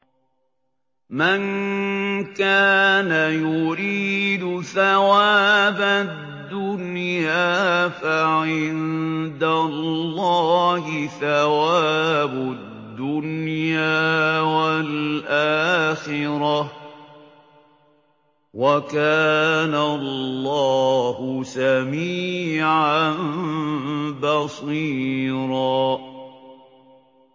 مَّن كَانَ يُرِيدُ ثَوَابَ الدُّنْيَا فَعِندَ اللَّهِ ثَوَابُ الدُّنْيَا وَالْآخِرَةِ ۚ وَكَانَ اللَّهُ سَمِيعًا بَصِيرًا